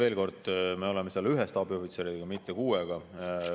Veel kord, me oleme seal ühe staabiohvitseriga, mitte kuuega.